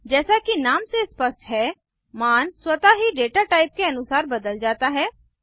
जैसा कि नाम से स्पष्ट है मान स्वतः ही डेटा टाइप के अनुसार बदल जाता है